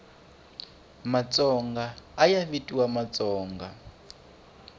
matsonga ayavitiwa matsonga